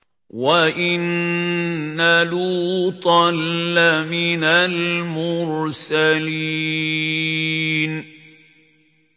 وَإِنَّ لُوطًا لَّمِنَ الْمُرْسَلِينَ